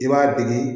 I b'a degi